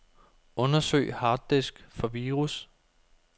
Undersøg harddisk for virus.